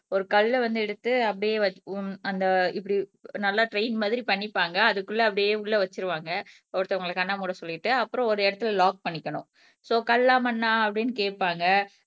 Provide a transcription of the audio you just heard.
ஒரு கல்லை வந்து எடுத்து அப்படியே வ அந்த இப்படி நல்லா ட்ரெயின் மாதிரி பண்ணிப்பாங்க அதுக்குள்ள அப்படியே உள்ள வச்சுருவாங்க ஒருத்தவங்களை கண்ண மூட சொல்லிட்டு அப்புறம் ஒரு இடத்தில லாக் பண்ணிக்கணும் சோ கல்லா மண்ணா அப்படீன்னு கேப்பாங்க